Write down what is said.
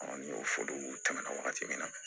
ni y'o fɔ u tɛmɛna wagati min na